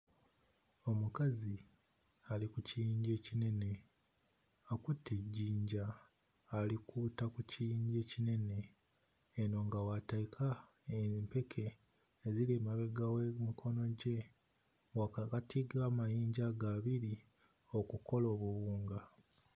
Omukazi ali ku kiyinja ekinene akutte ejjinja alikuuta ku kiyinja ekinene eno nga w'ateeka empeke eziri emabega w'emikono gye wakakati g'amayinja ago abiri okukola obuwunga.